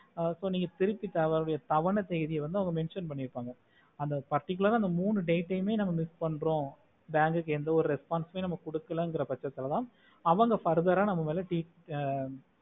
ஆஹ் so நீங்க திருப்பித்தர வேண்டிய தவணை தேதியை அதுல mention பண்ணிருப்பாங்க அந்த particular ஆஹ் மூணு date டுமே miss பண்றோ bank கு எந்த ஒரு response நம்ம குடுக்கலா அப்புடின்னா பச்சதுலதா அவங்க further ஆஹ் நம்ம மேல ஆஹ்